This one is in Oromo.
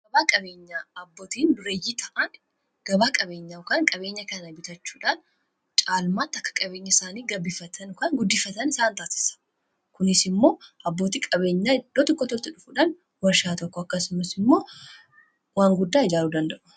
gabaa qabeenyaa abbootiin dureeyyii ta'aan gabaa qabeenyaa yookaan qabeenya kana bitachuudhaan caalmaatti akka qabeenyi isaanii guddifatan isaan taasisa. kunis immoo abbootii qabeenyaa itti dhufuudhaan warshaa tokko akkasumas immoo waan guddaa ijaaru danda'u.